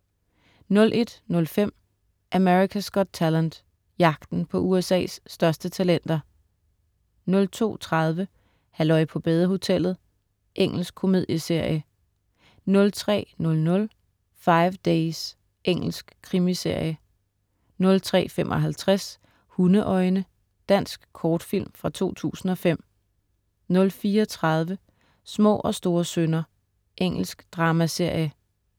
01.05 America's Got Talent. Jagten på USA's største talenter 02.30 Halløj på badehotellet. Engelsk komedieserie 03.00 Five Days. Engelsk krimiserie 03.55 Hundeøjne. Dansk kortfilm fra 2005 04.30 Små og store synder. Engelsk dramaserie